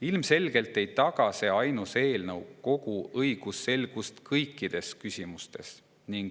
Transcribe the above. Ilmselgelt ei taga see ainus eelnõu õigusselgust kõikides küsimustes.